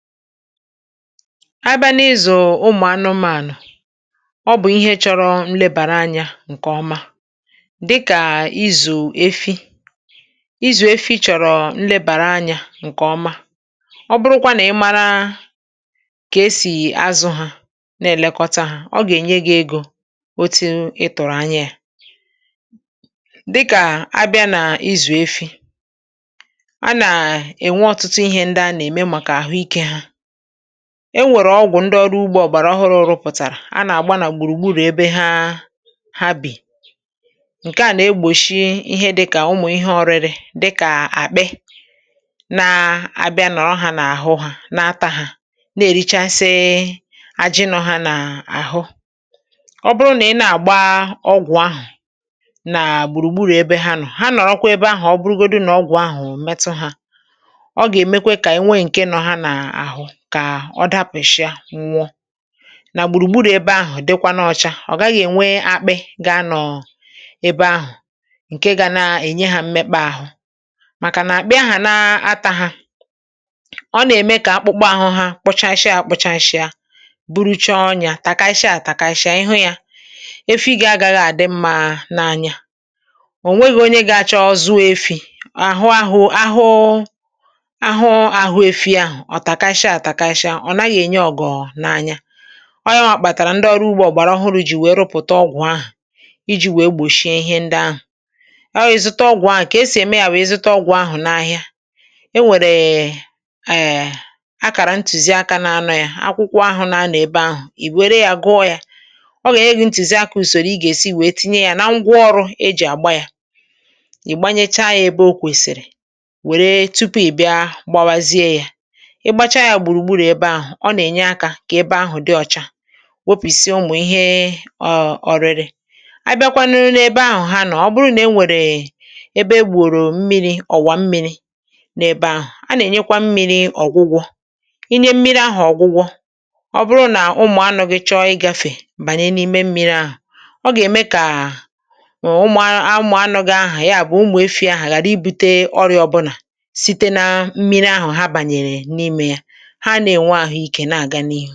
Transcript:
Abịa n’ịzụ anụmanụ. Ịzụ anụmanụ bụ ihe chọrọ nlebara anya nke ọma, dịka ịzụ efi. Ịzụ efi chọrọ ezi nlekọta. Ọ̀ bụrụ̀kwa na ị maara ka esi elekọta ha, ọ gà-enyere gị ego otu i tụrụ anya ya. (hmm)Dịka ọmụmaatụ, n’ịzụ efi, a na-ahụ ọtụtụ ihe ndị a na-eme maka ahụ ike ha. Enwere ọgwụ ndị ọrụ ugbo gbara ọhụrụ pụtara, a na-agba ya n’ụlọ efi ebe ha bi. Nke a na-egbochi ihe dị ka ụmụ ihe ọrịrị dịka akpị ịbịa n’ahụ ha. Akpị na-ata ha, na-eri ha, na-eme ka ajị ha daa ma mee ka akpụkpọ ha kwụsaa, bụrụcha ọnya nke na-eme ka anụ ahụ ghara ịdị mma n’anya onye na-azụ ya. Ihe dị otú ahụ na-akpata ndị ọrụ ugbo gbara ọhụrụ iji weta ọgwụ iji gbochie ọrịa ndị ahụ. um A na-eziga ọgwụ ahụ n’ahịa, enwere akara ntuziaka n’akwụkwọ dị ya nso. Ọ dị mkpa ka ị gụọ ntuziaka ahụ tupu i jiri ngwa ọrụ agbapụ ya ma tinye ya ebe kwesịrị ekwesị. Nke a na-enyere ka ebe ahụ dị ọcha ma gbochie ụmụ ihe ọrịrị ịbanye ọzọ.Ọ̀ bụrụ̀ na enwere ebe e gburu mmiri, ọwa mmiri, a na-enyekwa mmiri ọgwụgwọ. Ịnye mmiri ọgwụgwọ na-enyere aka ka ụmụ anụmanụ ghara ịrịba ọrịa ọbụna site n’ime mmiri ha na-aṅụ. Ya bụ, n’ịzụ efi, ọ dị mkpa ịchebara nlekọta, ọgwụgwọ, ebe obibi na ịdị ọcha echiche. ehm Nke a bụ ụzọ efi ga-esi tozuo, nwee ahụ ike, wee mee ka onye nwe ya nweta uru na ego.